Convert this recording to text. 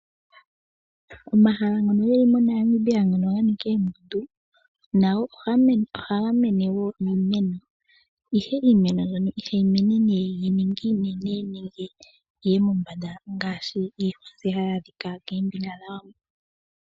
Omahala ngono geli moNamibia ngono ga nika oondundu nago ohaga mene wo iimeno. Ihe iimeno mbyono ihayi mene yi ninge iinene nenge yiye mombanda ngaashi iihwa mbyoka hayi adhika koombinga dha Wambo.